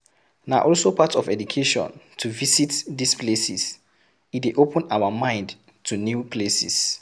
Na also part of education to visit these places, e dey open our mind to new places